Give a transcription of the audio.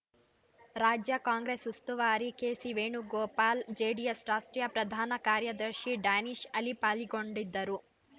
ರಾಜ್ಯ ಕಾಂಗ್ರೆಸ್‌ ಉಸ್ತುವಾರಿ ಕೆಸಿ ವೇಣುಗೋಪಾಲ್‌ ಜೆಡಿಎಸ್‌ ರಾಷ್ಟ್ರೀಯ ಪ್ರಧಾನ ಕಾರ್ಯದರ್ಶಿ ಡ್ಯಾನಿಷ್‌ ಅಲಿ ಪಾಲ್ಗೊಂಡಿದ್ದರು